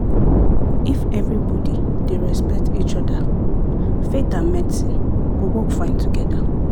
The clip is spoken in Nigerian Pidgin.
if everybody dey respect each other faith and medicine go work fine together.